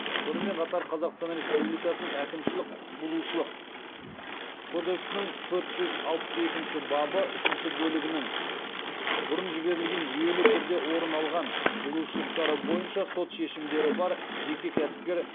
сонымен қатар қазақстан республикасының әкімшілік құқық бұзушылық кодексінің төрт жүз алпыс екінші бабы үшінші бөлігінің бұрын жіберілген жүйелі түрде орын алған бұзушылықтары бойынша сот шешімдері бар жеке кәсіпкер